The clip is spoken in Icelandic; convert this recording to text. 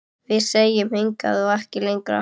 Við segjum: Hingað og ekki lengra!